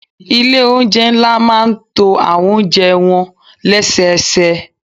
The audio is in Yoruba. Ilé oúnjẹ ńlá máa ń to àwọn oúnjẹ wọn lẹ́sẹẹsẹ.